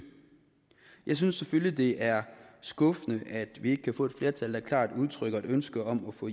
jeg synes selvfølgelig det er skuffende at vi ikke kan få et flertal der klart udtrykker et ønske om at få